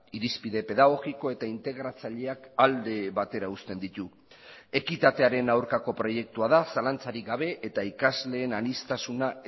irizpide pedagogiko eta integratzaileak alde batera uzten ditu ekitatearen aurkako proiektua da zalantzarik gabe eta ikasleen aniztasuna